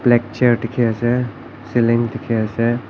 black chair dikhi ase cealing dikhi ase.